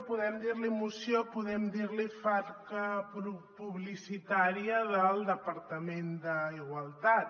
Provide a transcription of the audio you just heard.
podem dir ne moció podem dir ne falca publicitària del departament d’igualtat